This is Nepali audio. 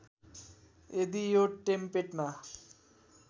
यदि यो टेम्पेटमा